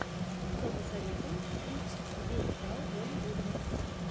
что посоветуешь из где играл джон гудман